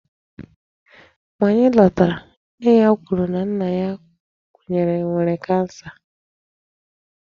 Mgbe anyị lọtara, nne ya kwuru na nna ya nwere 'cancer'.